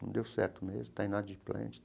Não deu certo mesmo, está inadimplente.